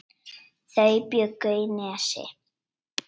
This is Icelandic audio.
Þau bjuggu í Nesi.